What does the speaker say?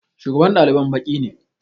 Shugaban ɗaliban baƙi ne